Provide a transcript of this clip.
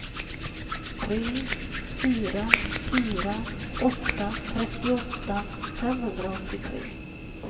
tre fyra fyra åtta trettioåtta femhundraåttiotre